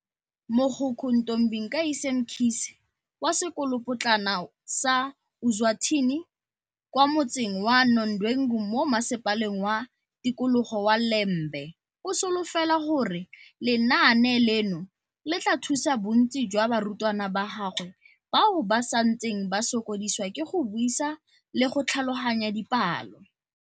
Mogokgo Ntombikayise Mkhize wa Sekolopotlana sa Ozwathini kwa motseng wa Nodwengu mo Masepaleng wa Tikologo wa Ile mbe o solofela gore lenaane leno le tla thusa bontsi jwa barutwana ba gagwe bao ba santseng ba sokodisiwa ke go buisa le go tlhaloganya dipalo.